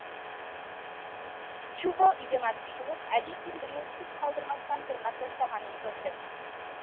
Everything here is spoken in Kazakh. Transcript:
чубо үйден атып шығып әжесінің бетін біреу түк қалдырмастан тырнап тастағанын көрді